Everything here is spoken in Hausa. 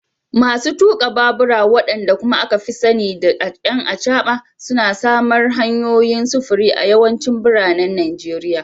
Masu tuka babura, wadanda kuma aka fi sani da “'ƴan acaba,” suna samar hanyoyin sufuri a yawancin biranen Najeriya.